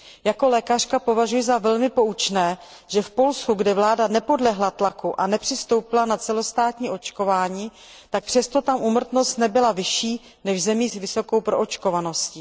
Jako lékařka považuji za velmi poučné, že v Polsku, kde vláda nepodlehla tlaku a nepřistoupila na celostátní očkování, nebyla úmrtnost vyšší než v zemích s vysokou proočkovaností.